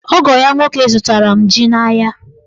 Ogo ya nwoke zụtara m ji n'ahịa.